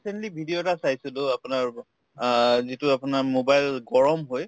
recently video এটা চাইছিলো আপোনাৰ অ যিটো আপোনাৰ mobile গৰম হৈ